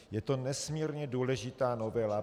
Je to nesmírně důležitá novela.